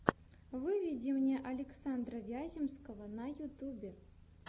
выведи мне александра вяземского на ютюбе